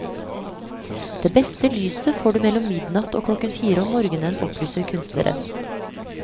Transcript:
Det beste lyset får du mellom midnatt og klokken fire om morgenen, opplyser kunstneren.